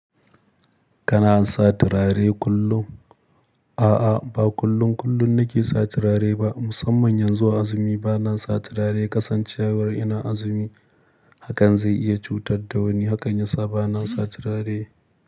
Kana sa turare kullum? A'a, ba kullun kullun nake sa turare ba. Musamman yanzu wa azumi bana sa turare. Kasancewar ina azumi hakan zai iya cutar da wani, hakan yasa bana sa turare.